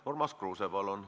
Urmas Kruuse, palun!